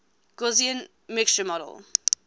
gaussian mixture model